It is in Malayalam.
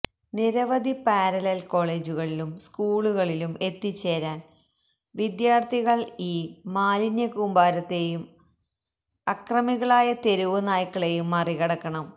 നിരവധിപാരലല്കോളേജുകളിലുംസ്കൂളുകളിലും എത്തിച്ചേരാന് വിദ്യാര്ഥികള് ഈ മാലിന്യ കൂമ്പാരത്തെയും അക്രമികളായ തെരുവ് നായ്ക്കളെയുംമറികടക്കണം